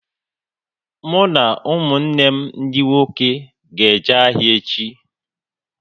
Mụ na ụmụnne m dị nwoke ga-eje ahịa echi